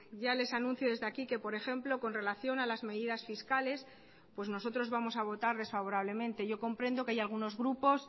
ya les anuncio desde aquí que por ejemplo con relación a las medidas fiscales pues nosotros vamos a votar desfavorablemente yo comprendo que hay algunos grupos